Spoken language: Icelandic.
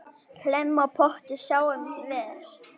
Hlemm á potti sáum vér.